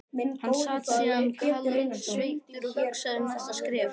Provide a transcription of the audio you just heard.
Hann sat síðan kaldsveittur og hugsaði um næsta skref.